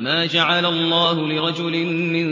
مَّا جَعَلَ اللَّهُ لِرَجُلٍ مِّن